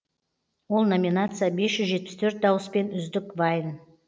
ол номинация бес жүз жетпіс төрт дауыспен үздік вайн